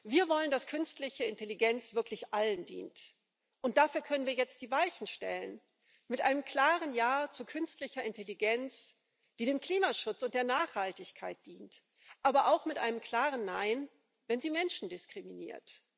Wir wollen, dass künstliche Intelligenz wirklich allen dient, und dafür können wir jetzt die Weichen stellen mit einem klaren Ja zu künstlicher Intelligenz, die dem Klimaschutz und der Nachhaltigkeit dient, aber auch mit einem klaren Nein, wenn sie Menschen diskriminiert.